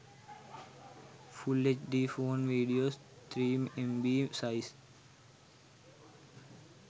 full hd phone videos 3mb size